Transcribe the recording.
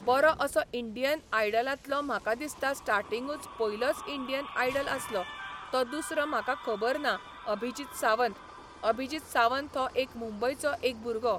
बरो असो इंडियन आयडलांतलो म्हाका दिसता स्टार्टिगूंच पयलोच इंडियन आयडल आसलो तो दुसरो म्हाका खबर ना अभिजीत सावंत, अभिजीत सावंत हो एक मुंबयचो एक भुरगो